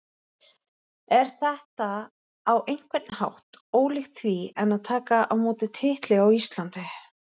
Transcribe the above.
Er þetta á einhvern hátt ólíkt því en að taka á móti titli á Íslandi?